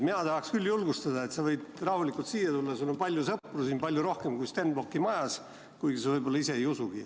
Mina tahaks küll julgustada, et sa võid rahulikult siia tulla, sul on siin palju sõpru, palju rohkem kui Stenbocki majas, kuigi sa võib-olla ise ei usugi.